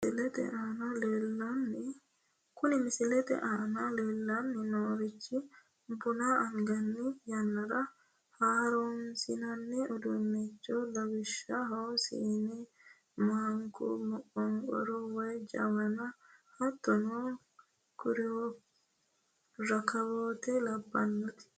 Kuni misilete aana leellanni noorichi buna anganni yannara horonsi'nanni uduunnichooti, lawishshaho, siinna , maanku, moqonqoru woyi jawanu hattono rakkawoote labbinoreeti.